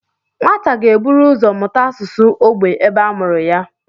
Nwata ga-eburu ụzọ mụta asụsụ ógbè ebe a mụrụ ya